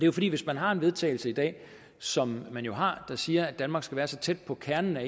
jo fordi hvis man har en vedtagelse i dag som man jo har der siger at danmark skal være så tæt på kernen af